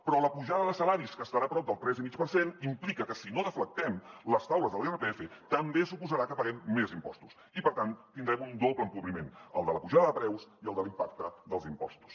però la pujada de salaris que estarà prop del tres i mig per cent implica que si no deflactem les taules de l’irpf també suposarà que paguem més impostos i per tant tindrem un doble empobriment el de la pujada de preus i el de l’impacte dels impostos